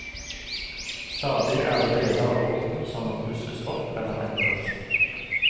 Stadig er det deler av båten som må pusses opp eller endres.